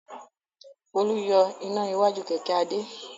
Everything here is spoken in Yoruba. Folú yọ iná iwájú kẹ̀kẹ́ Adé.